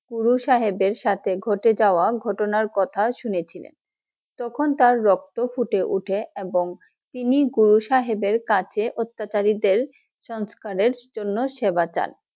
গুরু সাহেবের সাথে ঘটে যাওয়া ঘটনা কথা শুনেছিলেন । তখন তার রক্ত ফুটে উঠে এবং তিনি গুরু সাহেবের কাছে অত্যাচারীদের সংস্কারের জন্য সেবা চান ।